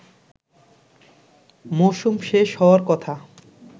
মৌসুম শেষ হওয়ার কথা